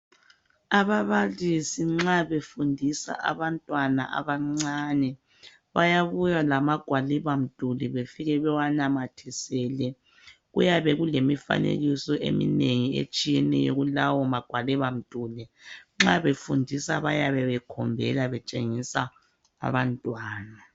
Ababalisi nxa befundisa abantwana abancane bayabuya lamagwalibamduli bafike bewanamathisele. Kuyabe kulemifanekiso eminengi etshiyeneyo kulawo magwalibamduli. Nxa befundisa bayabe bekhombela betshengisa abantwana